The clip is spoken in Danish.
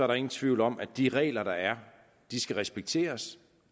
der ingen tvivl om at de regler der er skal respekteres